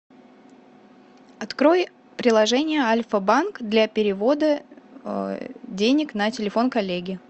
открой приложение альфа банк для перевода денег на телефон коллеги